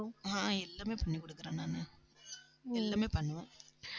ஆஹ் எல்லாமே பண்ணி கொடுக்கிறேன் நானு எல்லாமே பண்ணுவேன்